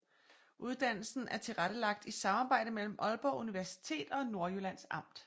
Uddannelsen er tilrettelagt i samarbejde mellem Aalborg Universitet og Nordjyllands Amt